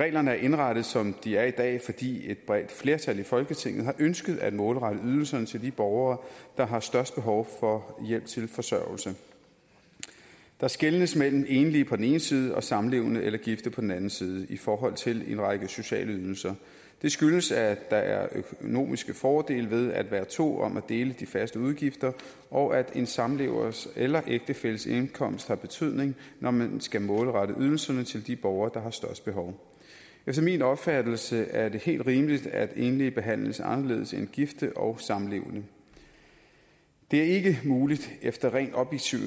reglerne er indrettet som de er i dag fordi et bredt flertal i folketinget har ønsket at målrette ydelserne til de borgere der har størst behov for hjælp til forsørgelse der skelnes mellem enlige på den ene side og samlevende eller gifte på den anden side i forhold til en række sociale ydelser det skyldes at der er økonomiske fordele ved at være to om at dele de faste udgifter og at en samlevers eller ægtefælles indkomst har betydning når man skal målrette ydelserne til de borgere der har størst behov efter min opfattelse er det helt rimeligt at enlige behandles anderledes end gifte og samlevende det er ikke muligt efter rent objektive